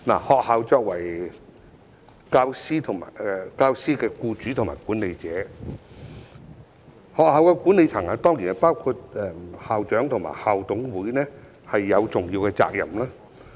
學校作為教師的僱主和管理者，學校管理層——當然包括校長和校董會——有重要的責任。